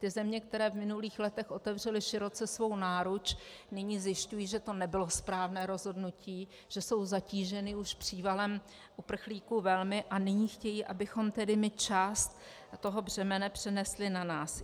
Ty země, které v minulých letech otevřely široce svou náruč, nyní zjišťují, že to nebylo správné rozhodnutí, že jsou zatíženy už přívalem uprchlíků velmi, a nyní chtějí, abychom tedy my část toho břemene přenesli na nás.